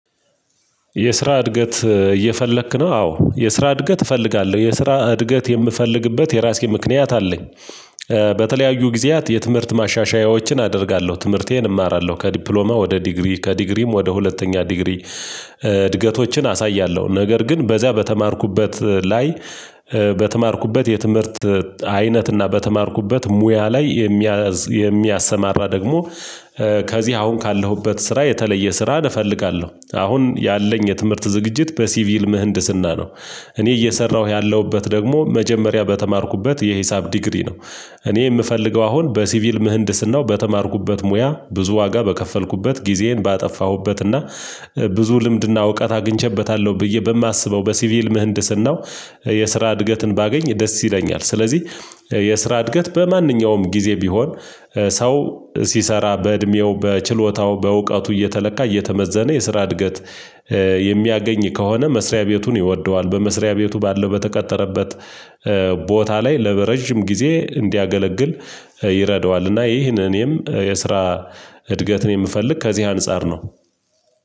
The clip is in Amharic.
የስራ እድገት እየፈለክ ነው አዎ የስራ እድገት እፈልጋለሁ የስራ እድገት የምፈልግበት የራሴ ምክንያት አለኝ። በተለያዩ ጊዜያት የትምህርት ማሻሻያዎችን አደርጋለሁ ትምህርቴን እማራለሁ ከዲፕሎማ ወደ ዲግሪ ከዲግሪም ወደ ሁለተኛ ዲግሪ። እድገቶችን አሳያለሁ ነገር ግን በዚያ በተማርኩበት ላይ በተማርኩበት የትምህርት አይነት እና በተማርኩበት ሙያ ላይ የሚያሰማራ ደግሞ ከዚህ አሁን ካለሁበት ስራ የተለየ ስራ እፈልጋለሁ አሁን ያለኝ የትምህርት ዝግጅት በሲቪል ምህንድስና ነው። እኔ እየሰራሁ ያለሁበት ደግሞ መጀመሪያ በተማርኩበት የሂሳብ ዲግሪ ነው። እኔ የምፈልገው አሁን በሲቪል ምህንድስናው በተማርኩበት ሙያ ብዙ ዋጋ በከፈልኩበት ጊዜዬን ባጠፋሁበት እና ብዙ ልምድና እውቀት አግኝቼበታለሁ ብዬ በማስበው በሲቪል ምህንድስናው የስራ እድገትን ባገኝ ደስ ይለኛል። ስለዚህ የስራ እድገት በማንኛውም ጊዜ ቢሆን ሰው ሲሰራ በእድሜው በችሎታው በእውቀቱ እየተለካ እየተመዘነ የስራ እድገት። የሚያገኝ ከሆነ መስሪያ ቤቱን ይወደዋል በመስሪያ ቤቱ ባለው በተቀጠረበት ቦታ ላይ ለረጅም ጊዜ እንዲያገለግል ይረዳዋል። እና ይህንን እኔም የስራ እድገትን የምፈልግ ከዚህ አንፃር ነው።